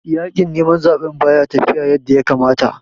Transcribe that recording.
Yaƙin neman zaɓen baya tafiya yanda ya kamata